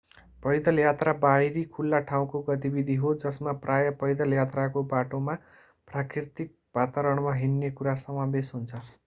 पैदल यात्रा बाहिरी खुल्ला ठाउँको गतिविधि हो जसमा प्राय पैदल यात्राको बाटोमा प्राकृतिक वातावरणमा हिँड्ने कुरा समावेश हुन्छ